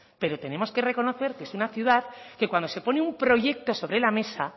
pero tenemos que reconocer que es una ciudad que cuando se pone un proyecto sobre la mesa